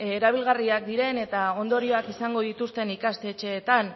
erabilgarriak diren eta ondorioak izango dituzten ikastetxeetan